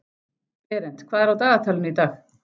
Berent, hvað er á dagatalinu í dag?